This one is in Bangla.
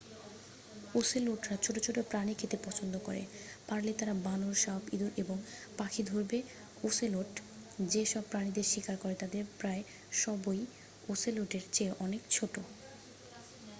ওসেলোটরা ছোট ছোট প্রাণী খেতে পছন্দ করে পারলে তারা বানর সাপ ইঁদুরএবং পাখি ধরবে ওসেলোট যে সব প্রাণীদের শিকার করে তাদের প্রায় সবইওসেলোটের চেয়ে অনেক ছোট